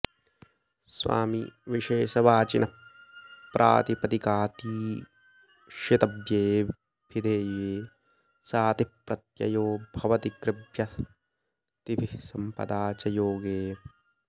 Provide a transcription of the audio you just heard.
स्वामिविशेषवाचिनः प्रातिपदिकातीशितव्ये ऽभिधेये सातिः प्रत्ययो भवति कृभ्वस्तिभिः सम्पदा च योगे